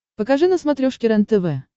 покажи на смотрешке рентв